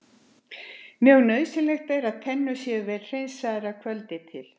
Mjög nauðsynlegt er að tennur séu vel hreinsaðar að kvöldi til.